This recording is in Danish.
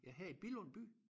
Ja her i Billund by?